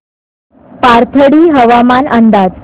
पाथर्डी हवामान अंदाज